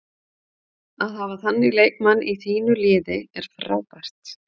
Að hafa þannig leikmann í þínu liði er frábært.